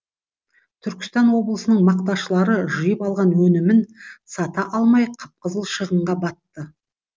түркістан облысының мақташылары жиып алған өнімін сата алмай қып қызыл шығынға батты